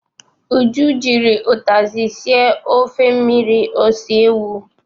Uju jiri ụtazị sie ofe mmirir ose ewu.